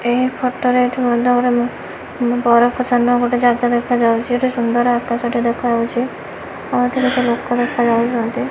ଏହି ଫଟରେ ଏଠୁ ମଣ୍ଡପ ବରଫ ଚାନୁଆ ଗୋଟେ ଜାଗା ଦେଖାଯାଉଚି ଗୋଟେ ସୁନ୍ଦର ଆକାଶ ଟେ ଦେଖାଯାଉଚି ଆଉ ଏଠି କେତେ ଲୋକ ଦେଖାଯାଉଚନ୍ତି।